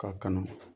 K'a kanu